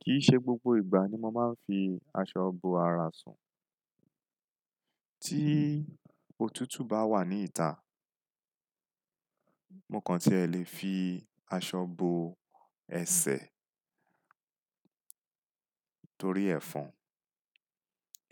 Kì í ṣe gbogbo ìgbà ni mo máa ń fi aṣọ bo ara sùn. Tí òtútù bá wà ní ìta mo kàn tí ẹ lè fi aṣọ bo ẹsẹ̀ torí ẹ́fọn.